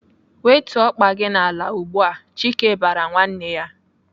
"Wetuo ọkpa gị n'ala ugbu a!" Chike bara nwanne ya.